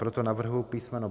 Proto navrhuji písm.